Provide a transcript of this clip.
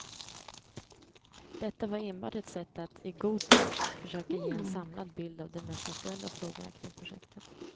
Detta var enbart ett sätt att, i god tid, försöka ge en samlad bild av de mest aktuella frågorna kring projektet.